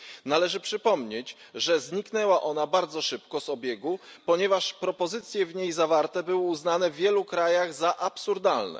Należy przypomnieć, że zniknęła ona bardzo szybko z obiegu, ponieważ propozycje w niej zawarte były uznane w wielu krajach za absurdalne.